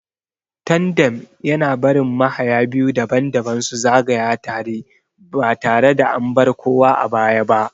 Tandem yana barin mahaya biyu daban-daban su zagaya tare ba tare da an bar kowa a baya ba.